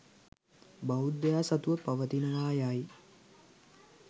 බෞද්ධයා සතුව පවතිනවා යයි